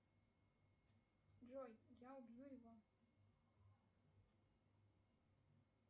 джой я убью его